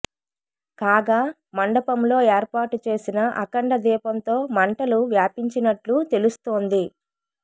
కాగా మండపంలో ఏర్పాటు చేసిన అఖండ దీపంతో మంటలు వ్యాపించినట్లు తెలుస్తోంది